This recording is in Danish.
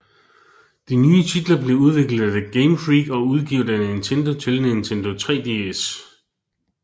De nye titler blev udviklet af Game Freak og udgivet af Nintendo til Nintendo 3DS